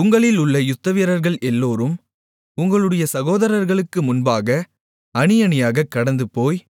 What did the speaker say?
உங்களிலுள்ள யுத்தவீரர்கள் எல்லோரும் உங்களுடைய சகோதரர்களுக்கு முன்பாக அணியணியாகக் கடந்துபோய்